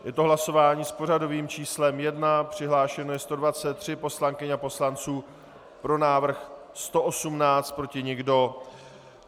Je to hlasování s pořadovým číslem 1, přihlášeno je 123 poslankyň a poslanců, pro návrh 118, proti nikdo.